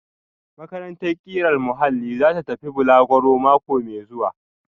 Makarantar ƙirar muhalli za ta tafi balaguro mako mai zuwa